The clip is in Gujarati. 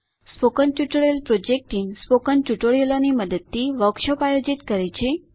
spoken tutorial project team spoken tutorial મદદથી વર્કશોપ આયોજિત કરે છે